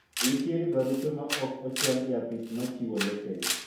nitiere barupe mane ok ochwal e apis ma chiwo lesen